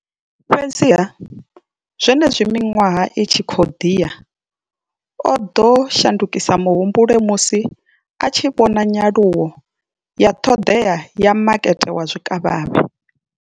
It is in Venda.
Fhedziha, zwenezwi miṅwaha i tshi khou ḓi ya, o ḓo shandukisa muhumbulo musi a tshi vhona nyaluwo ya ṱhoḓea ya makete wa zwikavhavhe.